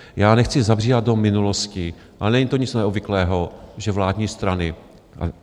Já nechci zabíhat do minulosti, ale není to nic neobvyklého, že vládní strany...